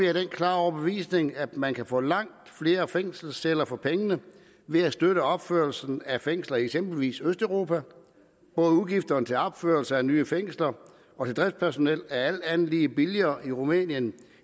af den klare overbevisning at man kan få langt flere fængselsceller for pengene ved at støtte opførelsen af fængsler i eksempelvis østeuropa udgifterne til både opførelse af nye fængsler og driftspersonel er alt andet lige billigere i rumænien